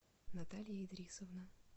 наталья идрисовна